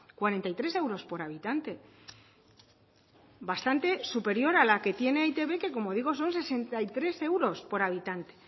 cuarenta y tres euros por habitante bastante superior a la que tiene e i te be que como digo son sesenta y tres euros por habitante